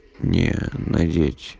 не надеть